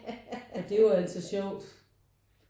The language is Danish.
Og det er jo altid sjovt